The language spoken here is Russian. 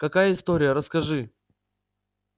какая история расскажи